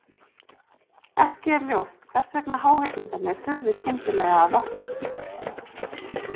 Ekki er ljóst hvers vegna háhyrningarnir hurfu skyndilega af vettvangi.